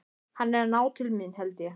Hann er að ná til mín, held ég.